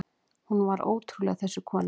Hún var ótrúleg, þessi kona.